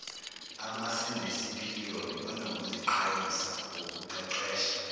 asebenesipiliyoni banokuziqhayisa ngokuqeqesha